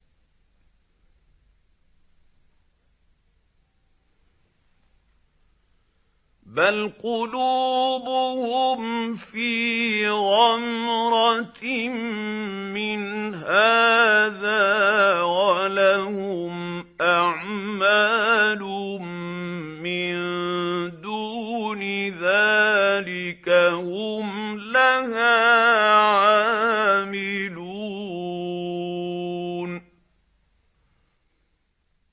بَلْ قُلُوبُهُمْ فِي غَمْرَةٍ مِّنْ هَٰذَا وَلَهُمْ أَعْمَالٌ مِّن دُونِ ذَٰلِكَ هُمْ لَهَا عَامِلُونَ